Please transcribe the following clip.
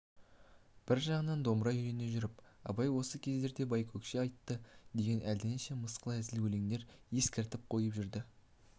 бір жағынан домбыра үйрене жүріп абай осы кездерде байкөкше айтты деген әлденеше мысқыл әзіл өлеңдер естіртіп қойып жүрді